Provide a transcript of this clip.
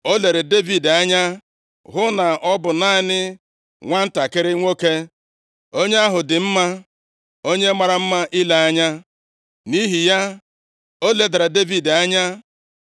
O lere Devid anya hụ na ọ bụ naanị nwantakịrị nwoke, onye ahụ dị mma, onye mara mma ile anya. Nʼihi ya, o ledara Devid anya.